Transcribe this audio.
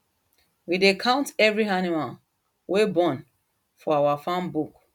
we dey count every animal wey born for our farm book